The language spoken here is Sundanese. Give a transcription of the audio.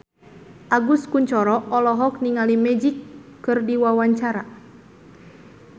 Agus Kuncoro olohok ningali Magic keur diwawancara